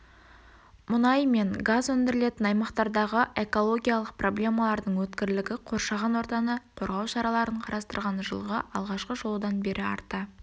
мұнай мен газ өндірілетін аймақтардағы экологиялық проблемалардың өткірлігі қоршаған ортаны қорғау шараларын қарастырған жылғы алғашқы шолудан бері арта